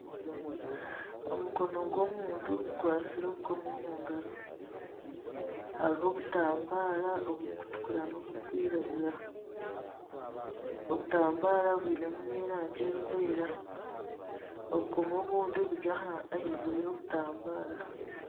Omukono gw'omuntu guwatsire obukomo mu ngaro, hariho obutambaara oburikutukura n'oburikwiragura. Obutambaara bwinemu n'erangi erikwera. Obukomo obundi buri ahaiguru y'obutambara.